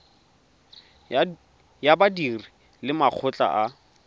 ya badiri le makgotla a